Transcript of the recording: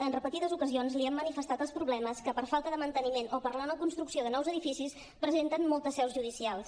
en repetides ocasions li hem manifestat els problemes que per falta de manteniment o per la no construcció de nous edificis presenten moltes seus judicials